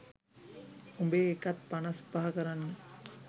උඹේ එකත් පනස් පහ කරන්න.